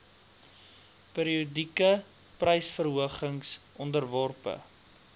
periodieke prysverhogings onderworpe